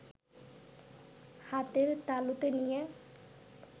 হাতের তালুতে নিয়ে